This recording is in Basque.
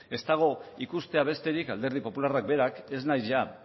ez dago ikustea besterik alderdi popularrak berak ez naiz